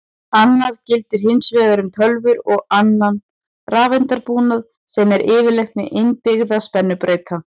Annað gildir hins vegar um tölvur og annan rafeindabúnað sem er yfirleitt með innbyggða spennubreyta.